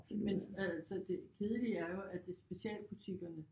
Men altså det kedelige er jo at det specialbutikkerne